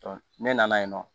ne nana yen nɔ